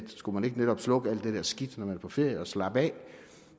skulle man ikke netop slukke alt det der skidt når man er på ferie og slappe af